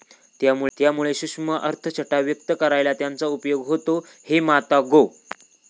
त्यामुळे सूक्ष्म अर्थछटा व्यक्त करायला त्यांचा उपयोग होतो हे माता गो.